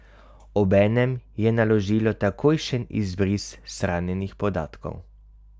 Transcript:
Obenem je naložilo takojšen izbris shranjenih podatkov.